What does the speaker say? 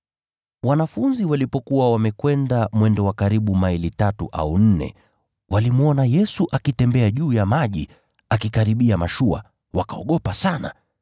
Wanafunzi walipokuwa wamekwenda mwendo wa karibu maili tatu au nne, walimwona Yesu akitembea juu ya maji akikaribia mashua, nao wakaogopa sana.